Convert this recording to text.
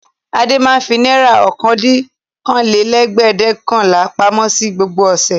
Adé máa ń fi náírà ọ̀kàndìnlókóólélẹ́ẹ̀dẹ́gbẹ̀ọ̀kànlá pamọ́ ní gbogbo ọ̀sẹ̀.